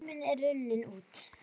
Tíminn er runninn út.